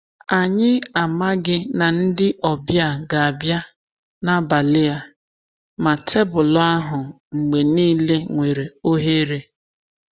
Anyị amaghi na ndị ọbịa ga-abịa n’abalị a, ma tebụlụ ahụ mgbe niile nwere ohere.